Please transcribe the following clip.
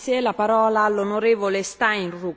Frau Präsidentin, Herr Kommissar!